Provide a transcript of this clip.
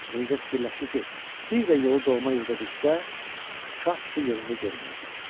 Mirzə fikirləşdi ki, bir də yolu doğma yurda düşsə, şah tutu yerində görməyəcək.